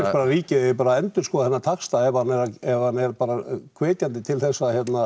að ríkið eigi að endurskoða þennan taxta ef hann ef hann er bara hvetjandi til þess